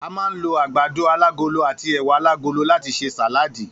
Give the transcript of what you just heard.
A máa ń lo àgbàdo alágolo àti è̩wà alágolo láti s̩e sàláàdì